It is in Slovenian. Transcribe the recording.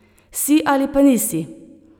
Si ali pa nisi!